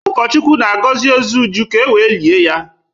Ụkọchukwu na-agọzi ozu Uju ka e wee lie ya.